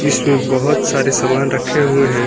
इसमें बहुत सारे सामान रखे हुए हैं।